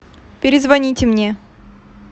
перезвоните мне